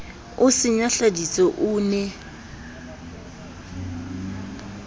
o se nyahladitse o ne